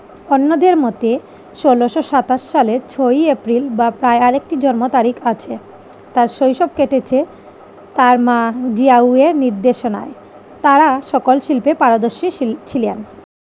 অন্যদের মতে ষোলোশো সাতাশ সালের ছই এপ্রিল বা প্রায় আরেকটি জন্ম তারিখ আছে। তার শৈশব কেটেছে তার মা জিয়াউরের নির্দেশনায়। তারা সকল শিল্পে পারদর্শী ছি ছিলেন।